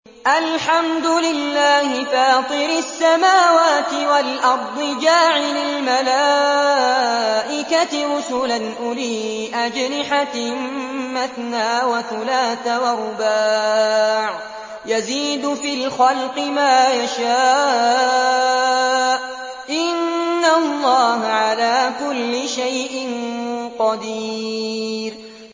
الْحَمْدُ لِلَّهِ فَاطِرِ السَّمَاوَاتِ وَالْأَرْضِ جَاعِلِ الْمَلَائِكَةِ رُسُلًا أُولِي أَجْنِحَةٍ مَّثْنَىٰ وَثُلَاثَ وَرُبَاعَ ۚ يَزِيدُ فِي الْخَلْقِ مَا يَشَاءُ ۚ إِنَّ اللَّهَ عَلَىٰ كُلِّ شَيْءٍ قَدِيرٌ